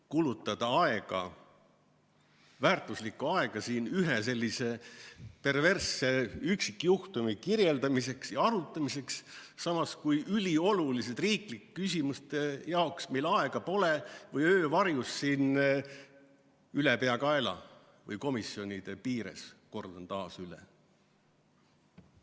Kulutada aega, väärtuslikku aega siin ühe sellise perversse üksikjuhtumi kirjeldamiseks ja arutamiseks, samas kui ülioluliste riiklike küsimuste jaoks meil aega pole või tegutseme öö varjus siin ülepeakaela või komisjonide piires, kordan taas üle.